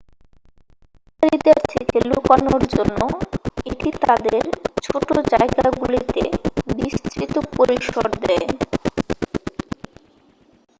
শিকারীদের থেকে লুকানোর জন্য এটি তাদের ছোট জায়গাগুলিতে বিস্তৃত পরিসর দেয়